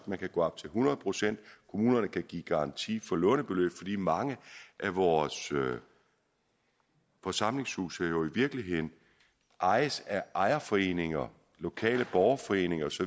man kan gå op til hundrede procent kommunerne kan give garanti for lånebeløb fordi mange af vores forsamlingshuse jo i virkeligheden ejes af ejerforeninger lokale borgerforeninger osv